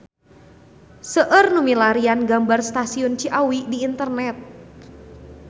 Seueur nu milarian gambar Stasiun Ciawi di internet